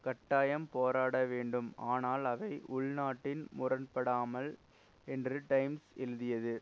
கட்டாயம் போராட வேண்டும் ஆனால் அவை உள்நாட்டில் முரண்படாமல் என்று டைம்ஸ் எழுதியது